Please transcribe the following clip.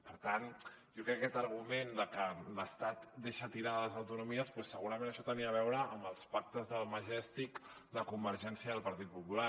per tant jo crec que aquest argument de que l’estat deixa tirades les autonomies doncs segurament això tenia a veure amb els pactes del majestic de convergència i el partit popular